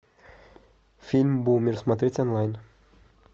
фильм бумер смотреть онлайн